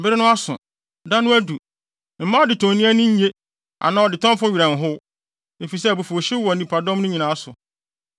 Bere no aso, da no adu. Mma adetɔni ani nnye anaa ɔdetɔnfo werɛ nhow, efisɛ abufuwhyew wɔ nnipadɔm no nyinaa so.